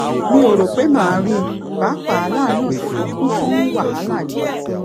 mi ò rò pé màá rí i pàápàá láàárín òsè tó kún fún wàhálà yìí